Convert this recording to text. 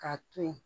K'a to yen